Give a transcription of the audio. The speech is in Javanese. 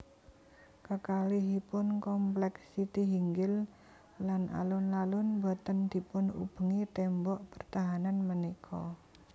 Kekalihipun komplèk Sitihinggil lan alun alun boten dipun ubengi témbok pertahanan punika